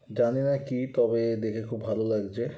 জানিনা কি তবে দেখে ভালো লেগেছে।